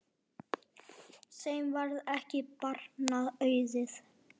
Þeim varð ekki barna auðið.